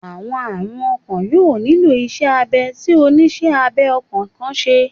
Awọn arun ọkan yoo nilo iṣẹ abẹ ti oniṣẹ abẹ ọkan kan ṣe